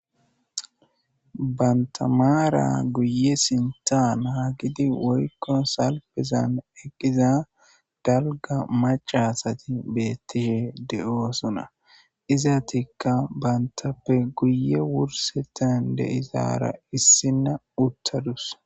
banta maara guye sintan haa gidi woykko salpezan eqqiza dalga macasati beettishe de7oosuna izatikka bantappe guye wursetan deizaara issinna uttadus